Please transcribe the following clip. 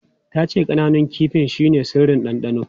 Ta ce ƙananun kifin shine sirrin dandano.